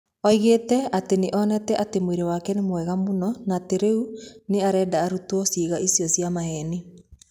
Oigĩte atĩ nĩ onete atĩ mwĩrĩ wake nĩ mwega mũno na atĩ rĩu nĩ arenda ũrutwo ciĩga icio cia maheni.